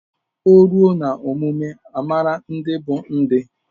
O ruo na omume amara ndị bụ ndị